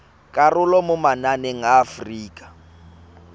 karolo mo mananeng a aforika